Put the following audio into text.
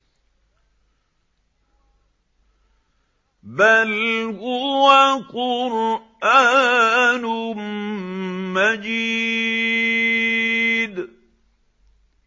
بَلْ هُوَ قُرْآنٌ مَّجِيدٌ